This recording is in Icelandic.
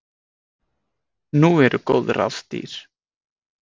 Nú eru góð ráð dýr.